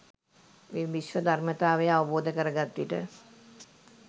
මේ විශ්ව ධර්මතාවය අවබෝධ කර ගත්විට